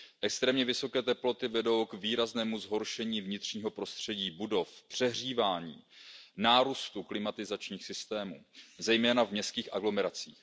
Extrémně vysoké teploty vedou k výraznému zhoršení vnitřního prostředí budov, přehřívání, nárůstu klimatizačních systémů, zejména v městských aglomeracích.